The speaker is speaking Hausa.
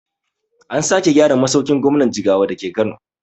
An sake gyara masaukin gwamnan jigawa dake kano